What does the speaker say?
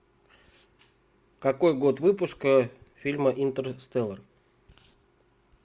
какой год выпуска фильма интерстеллар